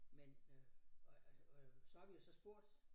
Men øh og og og så har vi jo så spurgt